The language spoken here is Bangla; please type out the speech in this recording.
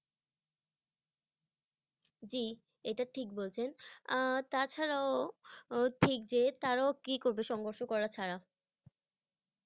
জি, এইটা ঠিক বলছেন, আহ তাছাড়াও ও- ঠিক যে তারাও কি করবে সংঘর্ষ করা ছাড়া।